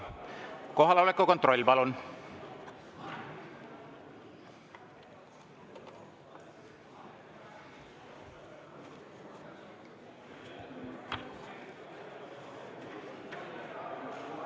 Kohaloleku kontroll, palun!